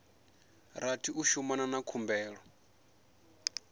rathi u shumana na khumbelo